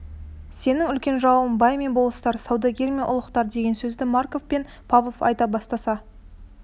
сенің үлкен жауың бай мен болыстар саудагер мен ұлықтар деген сөзді марков пен павлов айта бастаса